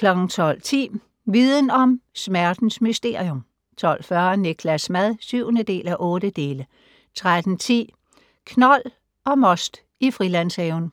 12:10: Viden om: Smertens mysterium 12:40: Niklas' mad (7:8) 13:10: Knold og most i Frilandshaven